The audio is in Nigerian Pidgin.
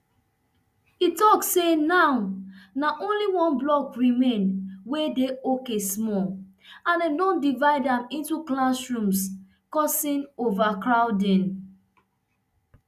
e tok say now na only one block remain wey dey okay small and dem don divide am into classrooms causing overcrowding